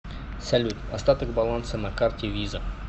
салют остаток баланса на карте виза